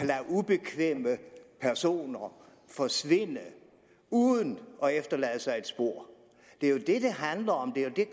lade ubekvemme personer forsvinde uden at efterlade sig et spor det er jo det det handler om det er